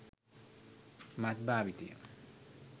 මත් භාවිතය.